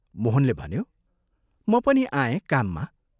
मोहनले भन्यो, "म पनि आएँ काममा